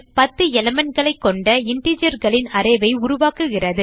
10 elementகளை கொண்ட intergerகளின் array ஐ உருவாக்குகிறது